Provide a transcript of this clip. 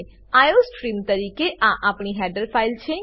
iostream તરીકે આ આપણી હેડર ફાઈલ છે